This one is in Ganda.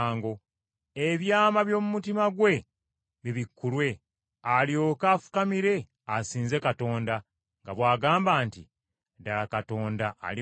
ebyama by’omu mutima gwe bibikkulwe, alyoke afukamire asinze Katonda, nga bw’agamba nti, “Ddala Katonda ali mu mmwe.”